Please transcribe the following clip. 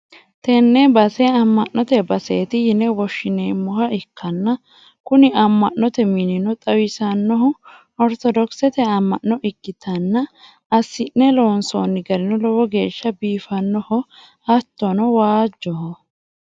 tenne base amma'note baseeti yine woshshi'neemmoha ikkanna, kuni amma'note minino xawisannohu oritodokisete amma'no ikkitanna, assi'ne loonsoonni garino lowo geeshsha biifannoho, hattono waajjoho.